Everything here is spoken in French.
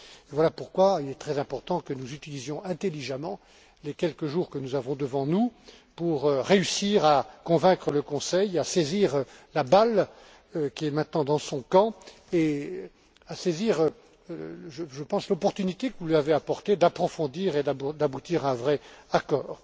Voilà pourquoi il est très important que nous utilisions intelligemment les quelques jours que nous avons devant nous pour réussir à convaincre le Conseil de saisir la balle qui est maintenant dans son camp, et de saisir, je pense, l'opportunité que vous lui avez offerte d'approfondir les choses et d'aboutir à un vrai accord.